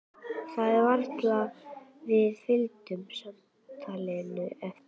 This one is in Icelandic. Það var varla að við fylgdum samtalinu eftir.